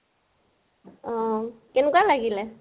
অহ, কেনেকুৱা লাগিলে?